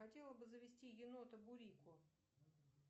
хотела бы завести енота бурико